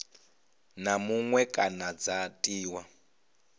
na muṅwe kana dza tiwa